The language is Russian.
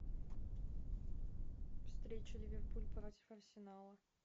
встреча ливерпуль против арсенала